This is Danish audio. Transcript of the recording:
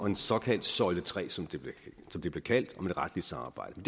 en såkaldt søjle tre som det blev kaldt om et retligt samarbejde